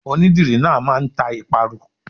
Onídìrí náà máa ń ta ìparun.